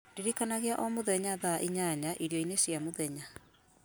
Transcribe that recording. ndirikanagia o mũthenya thaa inyanya irio-inĩ cia mũthenya